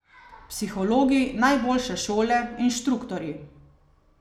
Psihologi, najboljše šole, inštruktorji.